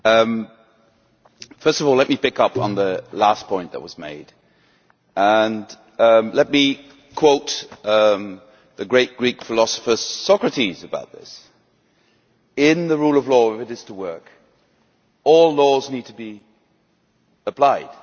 Madam President, first of all let me pick up on the last point that was made and let me quote the great Greek philosopher Socrates about this in the rule of law, if it is to work, all laws need to be applied.